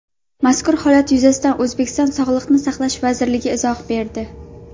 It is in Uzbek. Mazkur holat yuzasidan O‘zbekiston Sog‘liqni saqlash vazirligi izoh berdi .